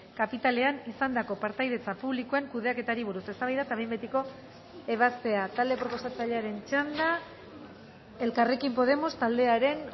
kapitalean izandako partaidetza publikoen kudeaketari buruz eztabaida eta behin betiko ebazpena talde proposatzailearen txanda elkarrekin podemos taldearen